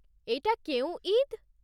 ଏଇଟା କେଉଁ ଇଦ୍?